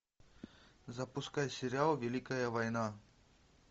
запускай сериал великая война